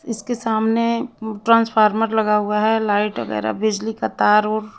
इसके सामने ट्रांसफार्मर लगा हुआ है लाइट वगैरा बिजली का तार ओर--